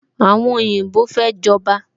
Àwọn oyinbo fẹ́ jọba